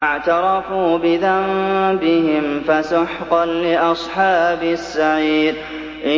فَاعْتَرَفُوا بِذَنبِهِمْ فَسُحْقًا لِّأَصْحَابِ السَّعِيرِ